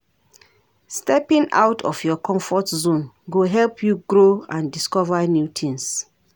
Stepping out of your comfort zone go help you grow and discover new tings.